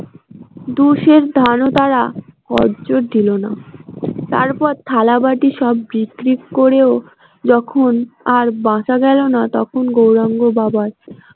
দুই শের ধানও তারা কর্য দিল না তারপর থালা বাটি সব বিক্রি করেও যখন আর বাঁচা গেল না তখন গৌরাঙ্গর বাবা।